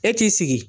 E t'i sigi